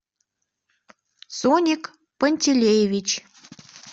соник пантелеевич